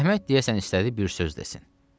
Əhməd deyəsən istədi bir söz desin.